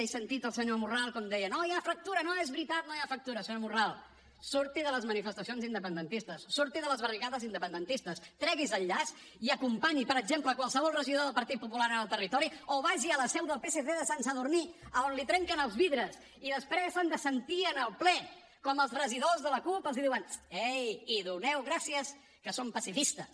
he sentit al senyor morral com deia no hi ha fractura no és veritat no hi ha fractura senyor morral surti de les manifestacions independentistes surti de les barricades independentistes tregui’s el llaç i acompanyi per exemple qualsevol regidor del partit popular en el territori o vagi a la seu del psc de sant sadurní on l’hi trenquen els vidres i després s’han de sentir en el ple com els regidors de la cup els diuen ei i doneu gràcies que som pacifistes